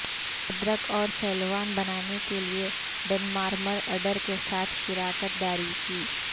ادرک اور سلیوان بنانے کے لئے ڈنمارمر اڈر کے ساتھ شراکت داری کی